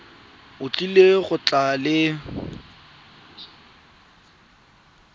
o tlile go tla le